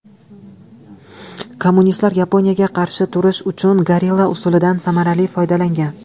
Kommunistlar Yaponiyaga qarshi turish uchun gorilla usulidan samarali foydalangan.